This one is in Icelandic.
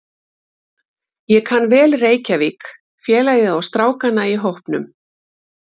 Ég kann vel Reykjavík, félagið og strákana í hópnum.